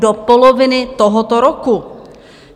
Do poloviny tohoto roku.